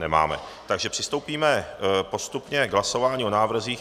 Nemáme, takže přistoupíme postupně k hlasování o návrzích.